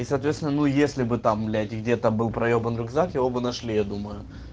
и соответственно ну если бы там блять где-то был проебан рюкзак его бы нашли я думаю